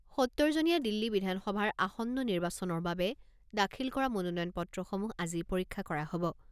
সত্তৰ জনীয়া দিল্লী বিধানসভাৰ আসন্ন নিৰ্বাচনৰ বাবে দাখিল কৰা মনোনয়ন পত্ৰসমূহ আজি পৰীক্ষা কৰা হব।